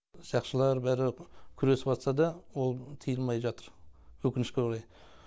сақшылар бәрі күресіп ватса да ол тиылмай жатыр өкінішке орай